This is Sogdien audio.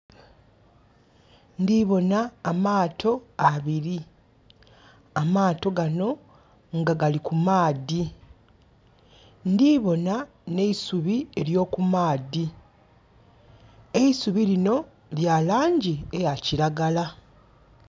Ndhi bona amaato abiri. Amaato gano nga gali ku maadhi. Ndhi bona nh'eisubi ely'okumaadhi. Eisubi linho lya laangi eya kiragala.